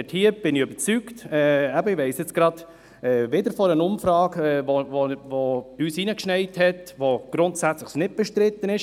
Ich bin überzeugt und weiss dies wieder von einer Umfrage, die uns zuflog, dass es grundsätzlich nicht bestritten ist.